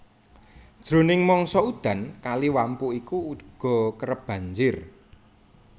Jroning mangsa udan Kali Wampu iki uga kerep banjir